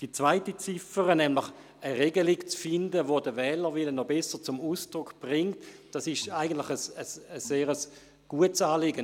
Die zweite Ziffer, wonach eine Regelung zu finden ist, die den Wählerwillen noch besser zum Ausdruck bringt, enthält eigentlich ein sehr gutes Anliegen.